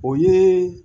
O ye